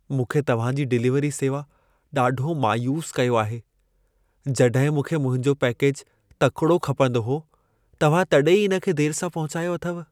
मूंखे तव्हां जी डिलीवरी सेवा ॾाढो मायूस कयो आहे। जॾहिं मूंखे मुंहिंज पैकेज तकिड़ो खपंदो हो, तव्हां तॾहिं ई इन खे देर सां पहुचायो अथव।